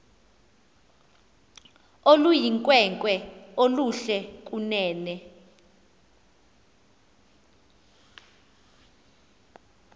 oluyinkwenkwe oluhle kunene